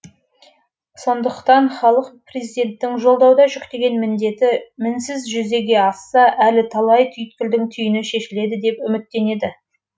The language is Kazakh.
сондықтан халық президенттің жолдауда жүктеген міндеті мінсіз жүзеге асса әлі талай түйткілдің түйіні шешіледі деп үміттенеді